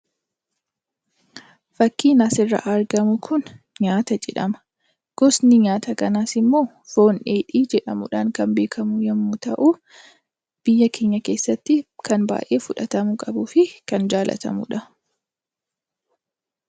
Fakkiin as irra argamuu kun nyaataa jedhamaa. Gostii nyataa kanaas immoo foon dheedhii jedhamuudhaan kan beekamuu yommuu ta'u, biyyaa keenyaa keessatti kan baay'ee fudhtamuufi kan baay'ee jaalatamudha.